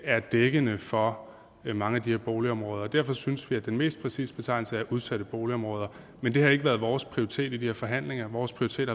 er dækkende for mange af de her boligområder derfor synes vi at den mest præcise betegnelse er udsatte boligområder men det har ikke været vores prioritet i de her forhandlinger vores prioritet